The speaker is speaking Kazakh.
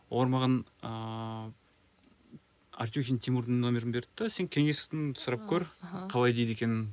олар маған ыыы артехин тимурдың нөмірін берді де сен кеңесін сұрап көр аха қалай дейді екенін